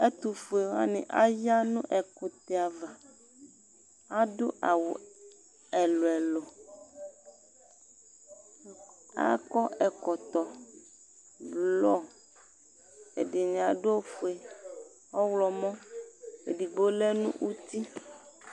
ɛtufuɛ wani aya nʋ ɛkʋtɛ aɣa adʋ awʋ ɛlʋ ɛlʋ akɔ ɛkɔtɔ blɔ ɛdini adʋ ofuɛ ɔwulɔ mɔ ɛdigbo lɛnʋti